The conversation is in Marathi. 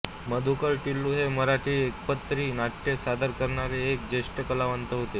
मधुकर टिल्लू हे मराठी एकपात्री नाट्ये सादर करणारे एक ज्येष्ठ कलावंत होते